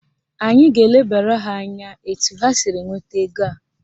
Anyị ga-elebara ha anya etu ha siri nweta ego a